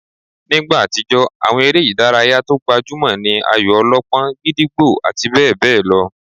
Nígbà àtijó, àwọn eré ìdárayá tó gbajúmọ̀ ní ayò-ọlọ́pọ́n, gídígbò àti bẹ́ẹ̀ bẹ́ẹ̀ lọ